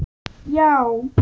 Já?